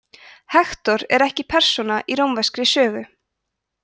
hektor er ekki persóna í rómverskri sögu